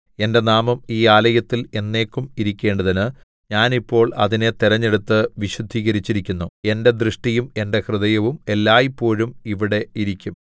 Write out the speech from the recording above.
എന്റെ നാമം ഈ ആലയത്തിൽ എന്നേക്കും ഇരിക്കേണ്ടതിന് ഞാൻ ഇപ്പോൾ അതിനെ തെരഞ്ഞെടുത്ത് വിശുദ്ധീകരിച്ചിരിക്കുന്നു എന്റെ ദൃഷ്ടിയും എന്റെ ഹൃദയവും എല്ലായ്പോഴും ഇവിടെ ഇരിക്കും